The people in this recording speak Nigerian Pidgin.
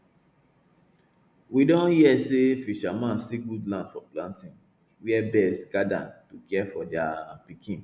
we don hear say fisherman see good land for planting where birds gather to care for their um pikin